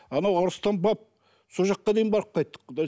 анау арыстан баб сол жаққа дейін барып қайттық